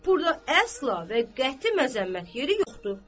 Burda əsla və qəti məzəmmət yeri yoxdur.